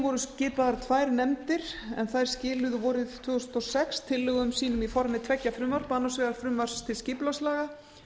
voru skipaðar tvær nefndir sem skiluðu vorið tvö þúsund og sex tillögum sínum í formi tveggja frumvarpa annars vegar frumvarps til skipulagslaga